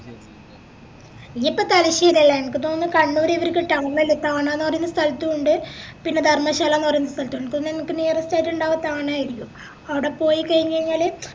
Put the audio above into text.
ഇഞ്ഞപ്പോ തലശ്ശേരി അല്ലെ എനക്ക് തോന്നിന്ന് കണ്ണൂര് ഇവരിക്ക് town അല്ലെ താണ ന്ന് പറയുന്ന സ്ഥലത്തുണ്ട് പിന്നെ ധർമശാലന്ന് പറയുന്ന സ്ഥലത്തുണ്ട് എനക്ക് തോന്നുന്ന് നിനിക്ക് nearest ആയിറ്റ് ഇണ്ടവ താണ ആരിക്കും അവിടെ പോയി കയിഞ്ഞയിഞ്ഞാല്